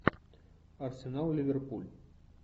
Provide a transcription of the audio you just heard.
арсенал ливерпуль